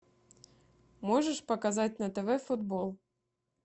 можешь показать на тв футбол